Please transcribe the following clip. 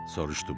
soruşdum.